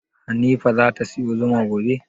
Hanifa zata siyo zuma gobe?